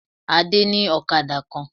Adé ní òkadà kan